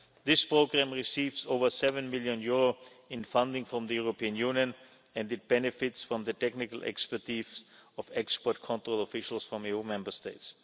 This programme receives over EUR seven million in funding from the European Union and it benefits from the technical expertise of export control officials from EU Member States.